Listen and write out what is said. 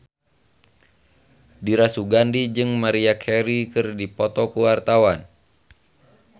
Dira Sugandi jeung Maria Carey keur dipoto ku wartawan